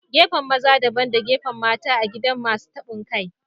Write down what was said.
Gefen maza. Dabban da gefen mata a gidan Masun tabon kai.